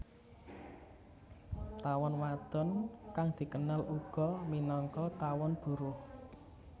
Tawon wadon kang dikenal uga minangka tawon buruh